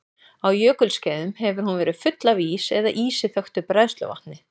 Á jökulskeiðum hefur hún verið full af ís eða ísi þöktu bræðsluvatni.